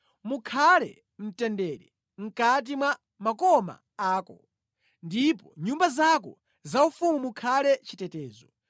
Mukhale mtendere mʼkati mwa makoma ako, ndipo mʼnyumba zako zaufumu mukhale chitetezo.”